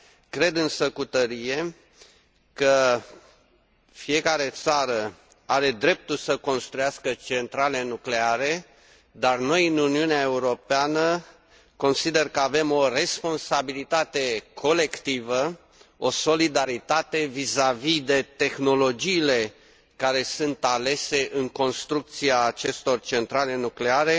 Cred însă cu tărie că fiecare țară are dreptul să construiască centrale nucleare, dar noi, în Uniunea Europeană, consider că avem o responsabilitate colectivă, o solidaritate vizavi de tehnologiile care sunt alese în construcția acestor centrale nucleare.